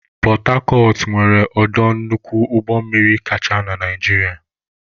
Pọtacọt nwere ọdọ nnukwu ụgbọmmiri kacha na Naịjirịa.